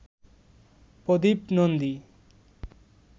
Pradip Nandi